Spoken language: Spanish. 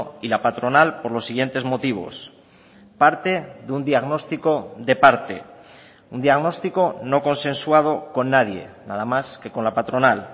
y la patronal por los siguientes motivos parte de un diagnóstico de parte un diagnóstico no consensuado con nadie nada más que con la patronal